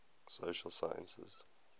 social sciences